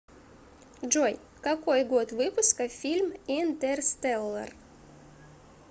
джой какой год выпуска фильм интерстеллар